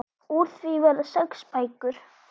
Úr því verða sex bækur.